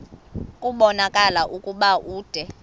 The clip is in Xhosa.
kubonakala ukuba ude